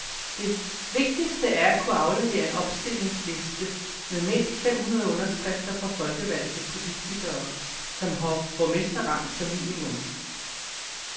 Det vigtigste er at kunne aflevere en opstillingsliste med mindst fem hundrede underskrifter fra folkevalgte politikere, som har borgmesterrang som minimum.